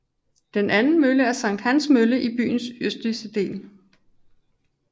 Den anden mølle er Sankt Hans Mølle i byens østlige del